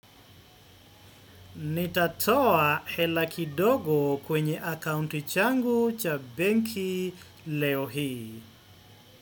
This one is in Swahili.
Nitatoa hela kidogo kwenye akaunti changu cha benki leo hii.